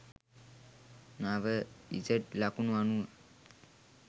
නව ඉසඩ් ලකුණු අනුව